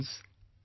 Friends,